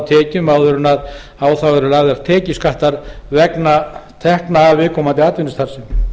tekjum áður en á þær eru lagðar tekjuskattur vegna tekna af viðkomandi atvinnustarfsemi